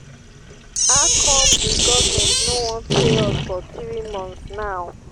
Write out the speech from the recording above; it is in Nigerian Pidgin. how come the government no wan pay us for three months now